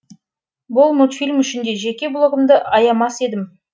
бұл мультфильм үшін де жеке блогымды аямас едім